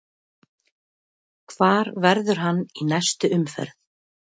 Hvar verður hann í næstu umferð?